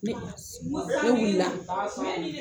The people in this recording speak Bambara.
Ne ne wulila